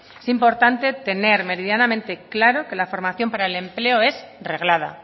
es importante tener meridianamente claro que la formación para el empleo es reglada